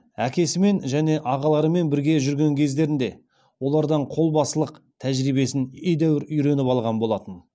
әкесімен және ағаларымен бірге жүрген кездерінде олардан қолбасылық тәжірибесін едәуір үйреніп алған болатын